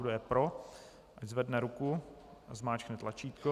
Kdo je pro, ať zvedne ruku a zmáčkne tlačítko.